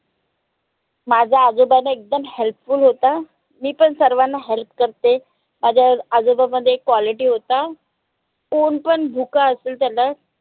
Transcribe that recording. माझा आजोबा न एकदम help full होता. मी पण सर्वांना help करते. माझ्या आजोबामध्ये एक quality होता. कोन पन भुखा असेल त्याला